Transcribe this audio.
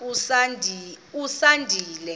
usandile